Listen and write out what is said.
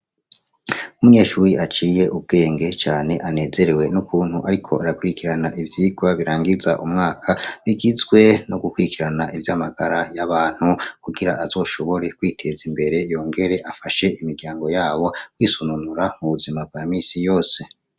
Umyeshuri aciye ubwenge cane anezerewe n'ukuntu, ariko arakwirikirana ivyirwa birangiza umwaka bigizwe no gukwirikirana ivyo amagara y'abantu kugira azoshobore kwiteza imbere yongere afashe imiryango yabo kwisununura mu buzima bwa misi yose.